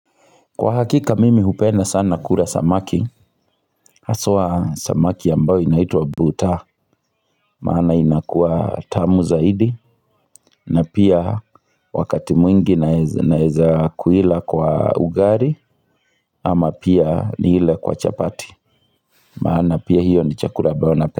Kwa hakika mimi hupenda sana kula samaki Haswa samaki ambao inaitwa butaa Maana inakua tamu zaidi na pia wakati mwingi naeza kuila kwa ugali ama pia niile kwa chapati Maana pia hiyo ni chakula ambayo nape.